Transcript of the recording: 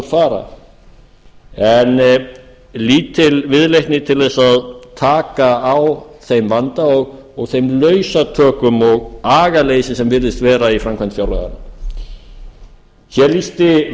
fara en lítil viðleitni til að taka á þeim vanda og þeim lausatökum og agaleysi sem virðist vera í framkvæmd fjárlaga hér lýsti